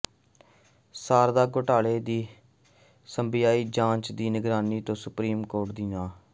ਸਾਰਧਾ ਘੁਟਾਲੇ ਦੀ ਸੀਬੀਆਈ ਜਾਂਚ ਦੀ ਨਿਗਰਾਨੀ ਤੋਂ ਸੁਪਰੀਮ ਕੋਰਟ ਦੀ ਨਾਂਹ